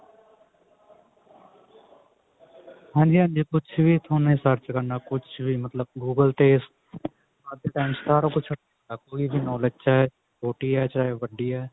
ਹਾਂਜੀ ਹਾਂਜੀ ਕੁਛ ਵੀ ਥੋਨੇ search ਕਰਨਾ ਕੁਛ ਵੀ ਮਤਲਬ google ਤੇ ਅੱਜ ਤੇ time ਚ ਸਾਰਾ ਕੁਝ ਇਹਦੇ knowledge ਚ ਹੈ ਛੋਟੀ ਹੈ ਚਾਹੇ ਵੱਡੀ ਹੈ